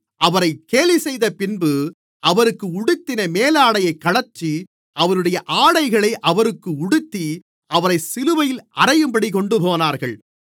அவரைக் கேலிசெய்தபின்பு அவருக்கு உடுத்தின மேலாடையைக் கழற்றி அவருடைய ஆடைகளை அவருக்கு உடுத்தி அவரைச் சிலுவையில் அறையும்படி கொண்டுபோனார்கள்